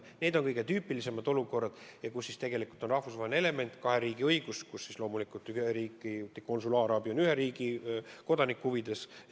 Need on kõige tüüpilisemad olukorrad, kus esineb rahvusvaheline element – kahe riigi õigus – ja kus ühe riigi konsulaarabi on loomulikult selle riigi kodaniku huvides.